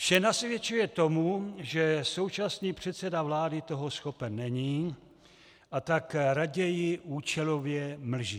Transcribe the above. Vše nasvědčuje tomu, že současný předseda vlády toho schopen není, a tak raději účelově mlží.